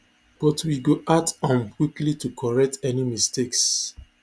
but we go act um quickly to correct any mistakes